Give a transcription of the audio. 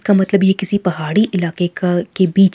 का मतलब ये किसी पहाड़ी इलाके का के बीच--